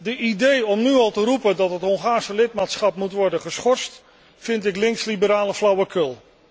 De idee om nu al te roepen dat het Hongaarse lidmaatschap moet worden geschorst, vind ik links liberale flauwekul.